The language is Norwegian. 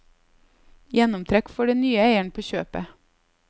Gjennomtrekk får den nye eieren på kjøpet.